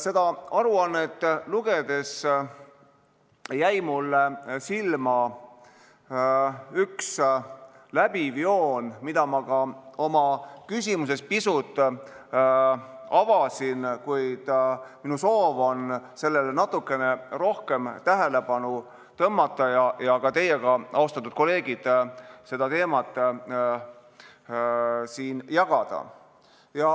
Seda aruannet lugedes jäi mulle silma üks läbiv joon, mida ma ka oma küsimuses pisut avasin, kuid minu soov on sellele natukene rohkem tähelepanu tõmmata ja ka teiega, austatud kolleegid, seda teemat jagada.